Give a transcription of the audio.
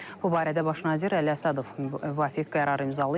Bu barədə Baş nazir Əli Əsədov müvafiq qərarı imzalayıb.